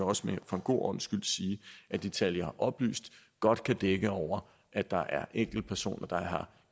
også for en god ordens skyld sige at de tal jeg har oplyst godt kan dække over at der er enkeltpersoner der har